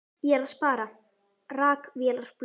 Nei, ég er að spara. rakvélarblöðin.